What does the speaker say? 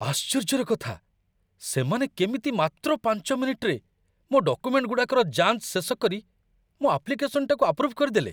ଆଶ୍ଚର୍ଯ୍ୟର କଥା, ସେମାନେ କେମିତି ମାତ୍ର ୫ ମିନିଟ୍‌ରେ ମୋ' ଡକୁମେଣ୍ଟ୍‌ଗୁଡ଼ାକର ଯାଞ୍ଚ ଶେଷକରି ମୋ' ଆପ୍ଲିକେସନ୍‌‌ଟାକୁ ଆପ୍ରୁଭ୍‌ କରିଦେଲେ!